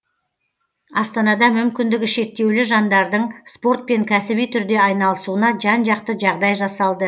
астанада мүмкіндігі шектеулі жандардың спортпен кәсіби түрде айналысуына жан жақты жағдай жасалды